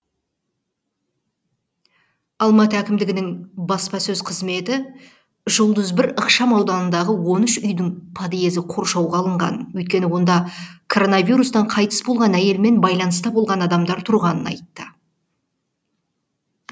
алматы әкімдігінің баспасөз қызметі жұлдыз бір ықшамауданындағы он үш үйдің подъезі қоршауға алынғанын өйткені онда коронавирустан қайтыс болған әйелмен байланыста болған адамдар тұрғанын айтты